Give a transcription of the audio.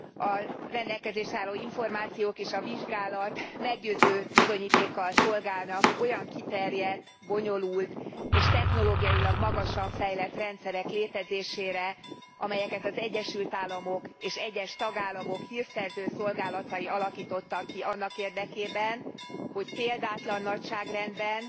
A rendelkezésre álló információk és a vizsgálat meggyőző bizonyítékkal szolgálnak olyan kiterjedt, bonyolult és technológiailag magasan fejlett rendszerek létezésére, amelyeket az Egyesül Államok és egyes tagállamok hírszerző szolgálatai alakítottak ki annak érdekében, hogy példátlan nagyságrendben,